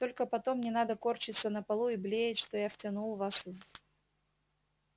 только потом не надо корчиться на полу и блеять что я втянул вас в